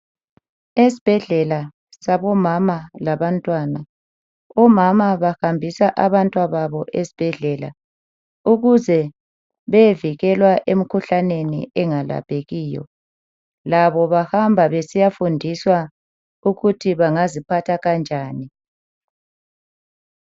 Esibhedlela sabomama labantwana, omama bahambisa abantwababo esibhedlela ukuze beyevikelwa emikhuhlaneni engalaphekiyo, labo bahamba besiyafundiswa ukuthi bangaziphatha kanjani.